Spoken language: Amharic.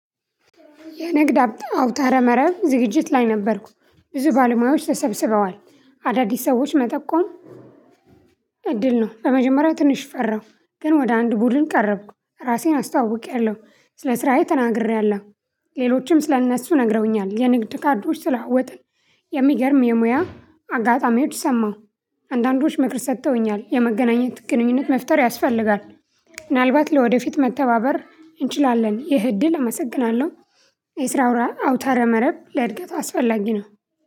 የንግድ አውታረ መረብ ዝግጅት ላይ ነበርኩ ብዙ ባለሙያዎች ተሰብስበዋል አዳዲስ ሰዎች መጠቆም። እድል ነው በመጀመሪያ ትንሽ ፈራሁ ግን ወደ አንድ ቡድን ቀረብኩ ራሴን አስተዋውቄያለሁ። ስለ ስራዬ ተናግሬያለሁ። ሌሎችም ስለ እነሱ ነግረውኛል የንግድ ካርዶች ተለዋወጥን። የሚገርም የሙያ አጋጣሚዎች ሰማሁ። አንዳንዶች ምክር ሰጥተውኛል የመገናኘት ግንኙነት መፍጠር ያስፈልጋል። ምናልባት ለወደፊት መተባበር እንችላለን ይህ እድል አመሰግናለሁ። የስራ አውታረ መረብ ለእድገት አስፈላጊ ነው።